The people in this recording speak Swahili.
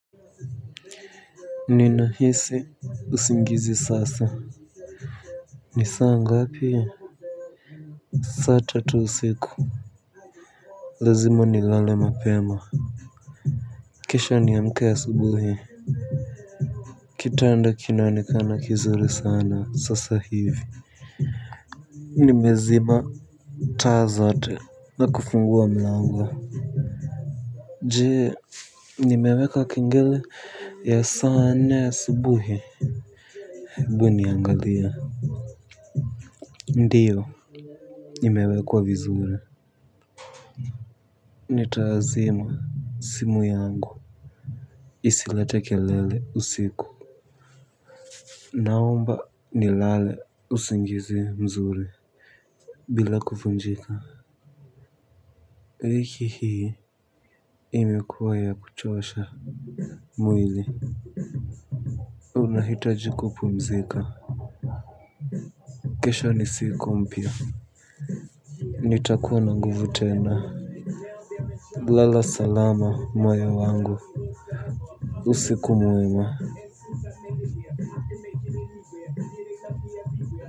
Ninahisi usingizi sasa. Ni saa ngapi. Saa tatu siku. Lazim nilale mapema. Kisha niamke asubuhi. Kitanda kinaonekana kizuri sana sasa hivi. Nimezima taa zote na kufungua mlango. Je, nimeweka kengele ya saa nne asubuhi ebu niangalie. Ndiyo imewekwa vizuri. Nitazima simu yangu. Isilete kelele usiku naomba nilale usingizi mzuri bila kuvunjika wiki hii imekuwa ya kuchosha mwili. Unahitaji kupumzika. Kesho ni siku mpya. Nitakuwa na nguvu tena. Lala salama moyo wangu. Usiku mwema.